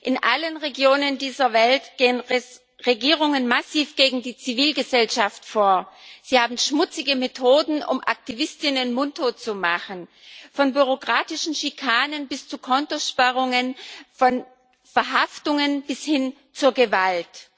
In allen Regionen dieser Welt gehen Regierungen massiv gegen die Zivilgesellschaft vor. Sie haben schmutzige Methoden, um Aktivistinnen mundtot zu machen von bürokratischen Schikanen bis zu Kontosperrungen, von Verhaftungen bis hin zur Gewalt.